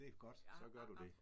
Det godt. Så gør du det